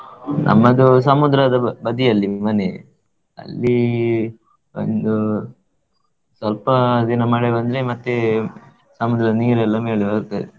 ನಮ್ಮದು ಸಮುದ್ರದ ಬದಿ ಅಲ್ಲಿ ಮನೆ, ಅಲ್ಲಿ ಒಂದು ಸ್ವಲ್ಪ ದಿನ ಮಳೆ ಬಂದ್ರೆ, ಮತ್ತೆ ಸಮುದ್ರದ ನೀರೆಲ್ಲಾ ಮೇಲೆ ಬರ್ತದೆ.